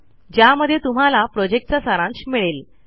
ज्यामध्ये तुम्हाला प्रॉजेक्टचा सारांश मिळेल